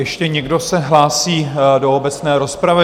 Ještě někdo se hlásí do obecné rozpravy?